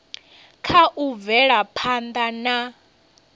kha u bvela phanda na